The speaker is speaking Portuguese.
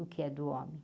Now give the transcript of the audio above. O que é do homem?